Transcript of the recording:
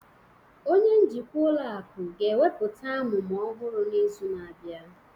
Onye njikwa ụlọ akụ ga-ekwupụta amụma ọhụrụ n'izu na-abịa